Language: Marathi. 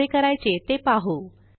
कसे करायचे ते पाहू